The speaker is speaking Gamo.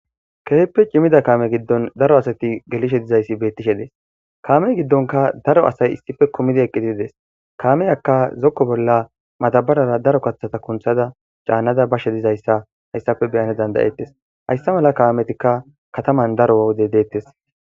Keehippe cimida kaame giddon daro asati gelishe dizayssi bettishe dees kaameyii giddonka daro asay issippe kummidii eqqidi dees kaameyakka zokko bolla madabarara daro kaththata kunththada caannada bashe dizayssa hayssappe beyana dandayettes hayssa mala kaametikka kataman daro wode deettes